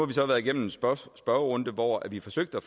vi så været igennem en spørgerunde hvor vi forsøgte at